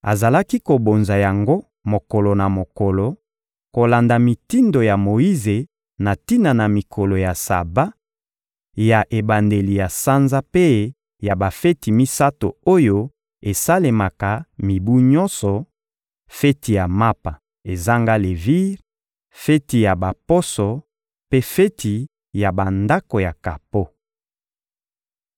Azalaki kobonza yango mokolo na mokolo, kolanda mitindo ya Moyize na tina na mikolo ya Saba, ya ebandeli ya sanza mpe ya bafeti misato oyo esalemaka mibu nyonso: feti ya Mapa ezanga levire, feti ya Baposo mpe feti ya Bandako ya kapo.